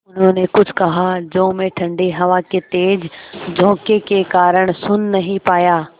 उन्होंने कुछ कहा जो मैं ठण्डी हवा के तेज़ झोंके के कारण सुन नहीं पाया